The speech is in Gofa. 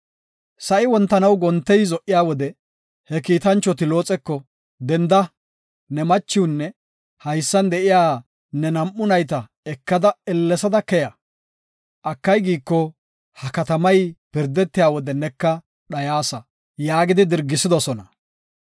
Sa7i wontanaw gontey zo77iya wode he kiitanchoti Looxeko, “Denda, ne machiwnne haysan de7iya ne nam7u nayta ekada ellesada keya. Akay giiko, ha katamay pirdetiya wode neka dhayasa” yaagi dirgisidosona.